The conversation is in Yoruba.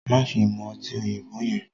maṣe mú ọtí òyìnbó yẹn!